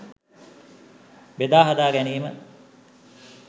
බෙදා හදා ගැනීම